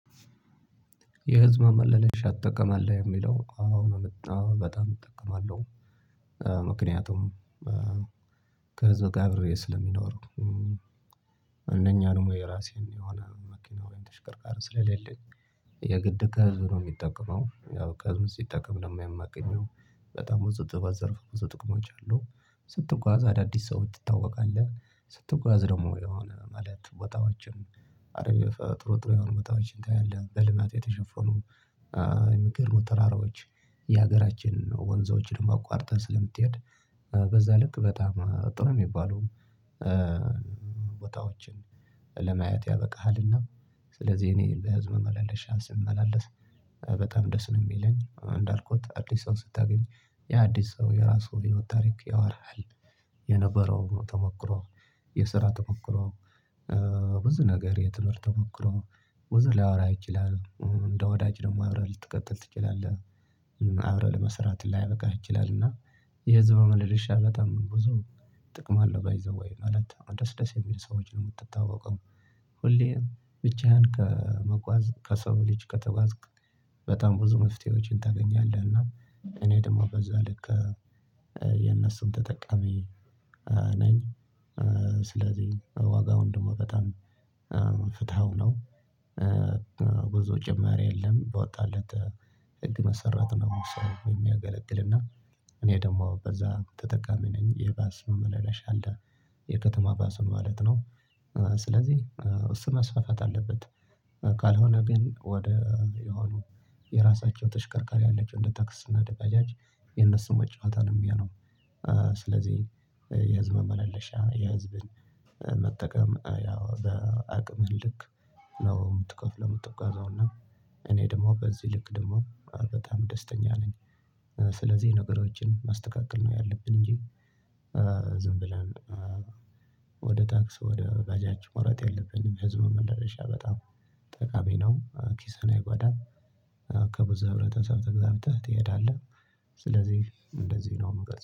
የህዝብ አመለለሽ ትጠቀማለህ የሚለው አው አው በጣም እጠቀማለሁ። ምክንያቱም ከዛ ጋር አብሬ ስለሚኖረው። እንደኛ ደግሞ የራሴን የሆነ መኪና ወይም ተሽቀርቃር ስለሌለኝ የግድ ከህዝብ ነው የሚጠቀመው ያው ከህዝብ ሲጠቀም ደግሞ የማገኘው በጣም ብዙ ጥብቅ ዘርፍ ብዙ ጥቅሞች አሉ። ስትጓዝ አዳዲስ ሰዎች ትታወቃለህ ስትጓዝ ደግሞ የሆነ ማለት ቦታዎችን አለ ጥሩ ጥሩ የሆነ ቦታዎችን ታያለህ በልማት የተሸፈኑ የሚገርሙ ተራራዎች የሀገራችን ወንዞችን አቋርጠህ ስለምትሄድ በዛ ልክ በጣም ጥሩ የሚባለውም ቦታዎችን ለማየት ያበቃሃልና። ስለዚህ እኔ በህዝብ መላለሻ ስመላለስ በጣም ደስ ነው የሚለኝ እንዳልኩት አዲስ ሰው ስታገኝ ያ አዲስ ሰው የራሱን ህይወት ታሪክ ያወራሃል። የነበረው ተሞክሮ የስራ ተሞክሮ ብዙ ነገር የትምህርት ተሞክሮ ብዙ ሊያወራ ይችላል። እንደ ወዳጅ ደግሞ አብረህ ልትቀጥል ትችላለህ አብረህ ለመስራት ሊያበቃህ ይችላል። እና የህዝብ ማመላለሻ በጣም ብዙ ጥቅም አለው ባይ ዘዌይ ማለት ደስ ደስ የሚል ሰዎችን ነው የምትታወቀው። ሁሌም ብቻህን ከመጓዝ ከሰው ልጅ ከተጓዝክ በጣም ብዙ መፍትሄዎችን ታገኛለህ። እና እኔ ደግሞ በዛ ልክ የነሱን ተጠቃሚ ነኝ። ስለዚህ ዋጋውን ደግሞ በጣም ፍትሃዊ ነው። ብዙ ጭማሪ የለም በወጣለት ህግ መሰረት ነው መውሰድ የሚያገለግልና። እኔ ደግሞ በዛ ተጠቃሚ ነኝ የባስ መመላለሻ አለ የከተማ ባስን ማለት ነው። ስለዚህ እሱ መስፋፋት አለበት። ካልሆነ ግን ወደ የሆኑ የራሳቸው ተሽከርካሪ ያላቸው እንደ ታክሲ እና ባጃጅ የነሱ መጫወቻ ነው የሚሆነው። ስለዚህ የህዝብን መመላለሻ የህዝብን መጠቀም ያው በአቅምህ ልክ ነው የምትከፍለው የምትጓዘው እና እኔ ደግሞ በዚህ ልክ ደግሞ በጣም ደስተኛ ነኝ። ስለዚህ ነገሮችን ማስተካከል ነው ያለብን እንጂ ዝም ብለን ወደ ታክስ ወደ ባጃጅ መውረድ የለብንም። ህዝብ መመላለሻ በጣም ጠቃሚ ነው ኪስን አይጓዳም። ከብዙ ህብረተሰብ ተግባብተህ ትሄዳለህ። ስለዚህ እንደዚህ ነው የምገልጸው